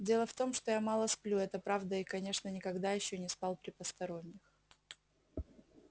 дело в том что я мало сплю это правда и конечно никогда ещё не спал при посторонних